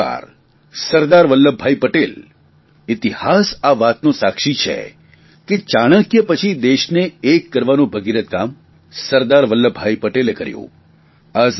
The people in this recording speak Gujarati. એક સરદાર સરદાર વલ્લભભાઇ પટેલ ઇતિહાસ આ વાતનો સાક્ષી છે કે ચાણક્ય પછી દેશને એક કરવાનું ભગીરથ કામ સરદાર વલ્લભભાઇ પટેલે કર્યું